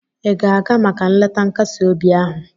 ị ga-aga maka nleta nkasi obi ahụ?